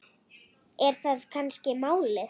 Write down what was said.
Er það kannski málið?